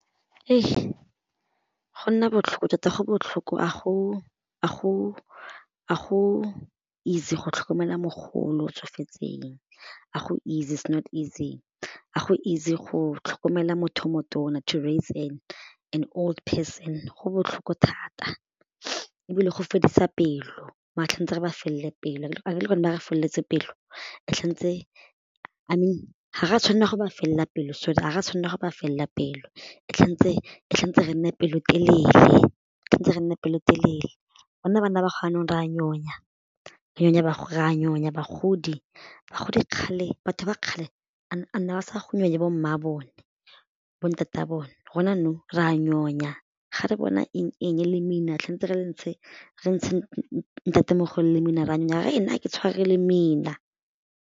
Go nna botlhoko tota go botlhoko a go easy go tlhokomela mogolo o tsofetseng a go easy is not easy, a go easy go tlhokomela motho o motona to raise an old person go botlhoko thata ebile go fedisa pelo re ba felele pelo, feletse pelo I mean ga ra tshwanela go ba felela pelo so ga ra tshwanela go ba felela pelo re nne pelotelele, re nne pelotelele gonne bana ba ra nyonya, re a nyonya bagodi, bagodi kgale, batho ba kgale ba sa nyonye bomma bone bo ntate a bone rona nou re a nyonya ga re bona eng-eng lemina tshwantse re le ntshe re ntshe ntatemogolo le lemina re a nna a ke tshware lemina.